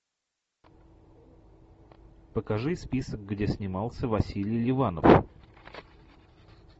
покажи список где снимался василий ливанов